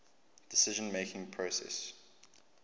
decision making process